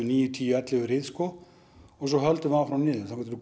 níu tíu ellefu rið og svo höldum við áfram niður þangað til